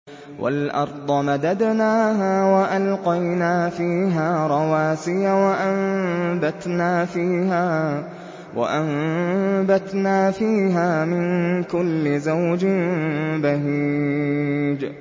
وَالْأَرْضَ مَدَدْنَاهَا وَأَلْقَيْنَا فِيهَا رَوَاسِيَ وَأَنبَتْنَا فِيهَا مِن كُلِّ زَوْجٍ بَهِيجٍ